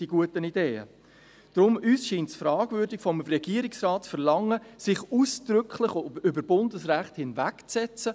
Daher scheint es uns fragwürdig, vom Regierungsrat zu verlangen, sich ausdrücklich über Bundesrecht hinwegzusetzen.